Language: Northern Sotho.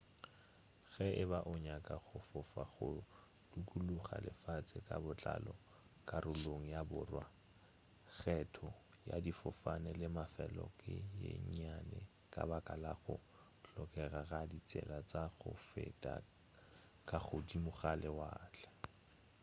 ge e ba o nyaka go fofa go dukuluga lefase ka botlalo karolong ya borwa kgetho ya difofane le mafelo ke ye nnyane ka baka la go hlokega ga ditsela tša go feta ka godimo ga lewatle